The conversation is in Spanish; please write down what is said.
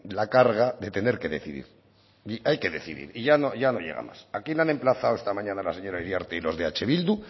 la carga de tener que decidir y hay que decidir y ya no llegamos aquí le han emplazado la señora iriarte y los de eh bildu